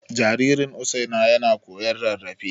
Jaririn Usaina yana koyon rarrafe.